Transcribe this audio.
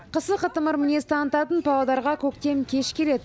қысы қытымыр мінез танытатын павлодарға көктем кеш келеді